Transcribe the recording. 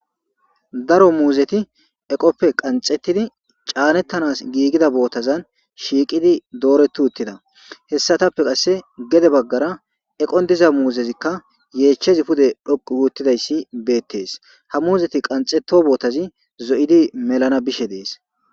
Daro muuzeti eqoppe qanxettidi caanettanas giigida bootazan shiiqidi dooreti uttida. Hessatappe qasse gede baggara eqon diza muuzezikka yeechchezi pude dhoqqu gi uttidayssi beettes. Ha muuzeti qanxetto bootazi zo7idi melana bishe dees.